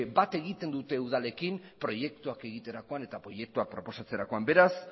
bat egiten dute udalekin proiektuak egiterakoan eta proiektuak proposatzerakoan beraz